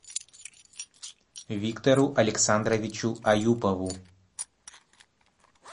виктору александровичу аюпову